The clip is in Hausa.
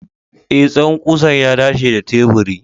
E, tsawon ƙusar ya dace da teburi.